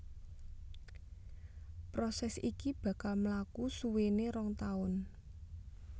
Prosès iki bakal mlaku suwéné rong taun